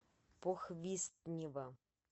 похвистнево